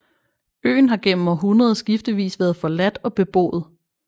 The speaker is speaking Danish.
Øen har gennem århundreder skiftevis været forladt og beboet